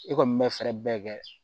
I kɔni bɛ fɛɛrɛ bɛɛ kɛ